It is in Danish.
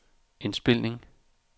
indspilning